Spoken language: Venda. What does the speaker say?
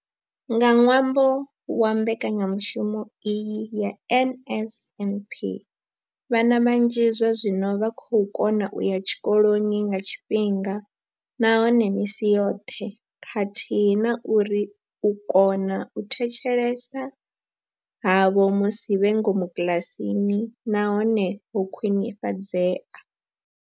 Nga ṅwambo wa mbekanyamushumo iyi ya NSNP, vhana vhanzhi zwazwino vha vho kona u ya tshikoloni nga tshifhinga nahone misi yoṱhe khathihi na uri u kona u thetshelesa havho musi vhe ngomu kiḽasini na hone ho khwinifhadzea.